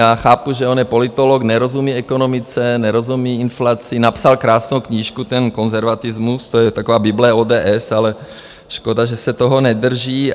Já chápu, že on je politolog, nerozumí ekonomice, nerozumí inflaci, napsal krásnou knížku ten Konzervatismus, to je taková bible ODS, ale škoda, že se toho nedrží.